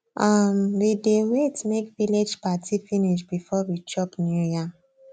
um we dey wait make village party finish before we chop new yam